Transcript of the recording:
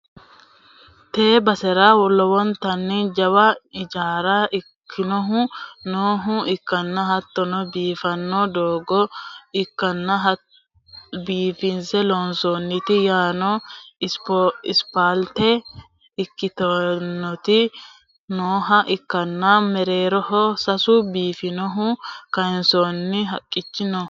tee basera lowontanni jawa ijaara ikkinohu nooha ikkanna, hattono biiffanno doogo biifinse loonsoonniti yaano isipaalte ikkitinoti nooha ikkana, mereeroho sasu biifaho kayiinsoonni haqqichi no.